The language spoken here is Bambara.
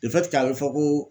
a bɛ fɔ ko